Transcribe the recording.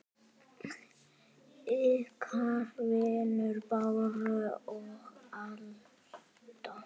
Ykkar vinir Bára og Alda.